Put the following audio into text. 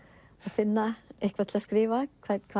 finna eitthvað til að skrifa